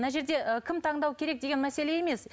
мына жерде і кім таңдау керек деген мәселе емес